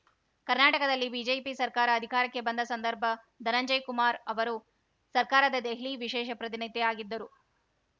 ಕರ್ನಾಟಕದಲ್ಲಿ ಬಿಜೆಪಿ ಸರ್ಕಾರ ಅಧಿಕಾರಕ್ಕೆ ಬಂದ ಸಂದರ್ಭ ಧನಂಜಯ ಕುಮಾರ್‌ ಅವರು ಸರ್ಕಾರದ ದೆಹಲಿ ವಿಶೇಷ ಪ್ರತಿನಿಧಿಯಾಗಿದ್ದರು